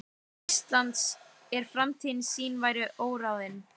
Íslands, en framtíð sín væri óráðin.